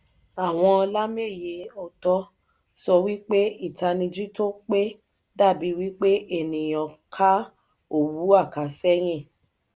àwọn lameyi-otọ sọ wípé itaniji tó pé da bí wípé ènìyàn ka òwu akaseyin.